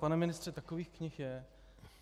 Pane ministře, takových knih je.